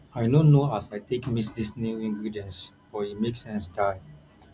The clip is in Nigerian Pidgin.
i no know as i take mix dis new ingredients but e make sense die